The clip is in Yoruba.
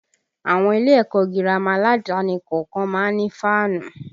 Àwọn ilé ẹ̀kọ́ gírámà aládàáni kọ̀ọ̀kan má ń ní fáànù